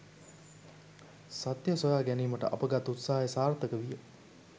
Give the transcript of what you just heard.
සත්‍ය සොයා ගැනීමට අප ගත් උත්සාහය සාර්ථක විය.